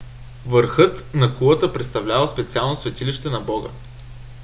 върхът на кулата представлявал специално светилище на бога